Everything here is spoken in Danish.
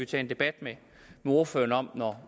tage en debat med ordføreren om